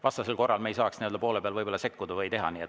Vastasel korral me ei saaks nii‑öelda poole pealt sekkuda.